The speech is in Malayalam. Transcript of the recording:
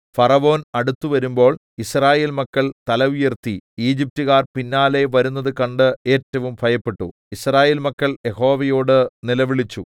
ഫറവോൻ അടുത്തുവരുമ്പോൾ യിസ്രായേൽ മക്കൾ തല ഉയർത്തി ഈജിപ്റ്റുകാർ പിന്നാലെ വരുന്നത് കണ്ട് ഏറ്റവും ഭയപ്പെട്ടു യിസ്രായേൽ മക്കൾ യഹോവയോട് നിലവിളിച്ചു